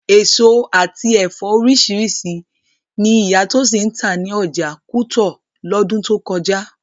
Èso àti ẹ̀fọ́ oríṣiríṣi ni ìyá Tósìn ń tà ní ọjà kútọ̀ lọ́dún tó kọjá